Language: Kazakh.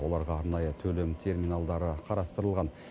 оларға арнайы төлем терминалдары қарастырылған